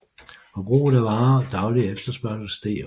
Forbruget af varer og daglig efterspørgsel steg også